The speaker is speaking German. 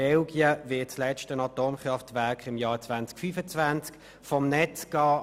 In Belgien wird das letzte Atomkraftwerk im Jahr 2025 vom Netz gehen.